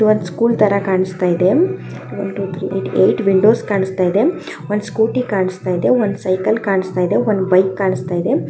ಇಲ್ಲಿ ಒಂದು ಸ್ಕೂಲ್ ಥರ ಕಾಣಿಸ್ತಾ ಇದೆ one two three four five six seven eight eight windows ಕಾಣಿಸ್ತಾ ಇದೆ ಒಂದು ಸ್ಕೂಟಿ ಕಾಣಿಸ್ತಾ ಇದೆ ಒನ್ ಸೈಕಲ್ ಕಾಣಿಸ್ತಾ ಇದೆ ಒಂದು ಬೈಕ್ ಕಾಣಿಸ್ತಾ ಇದೆ .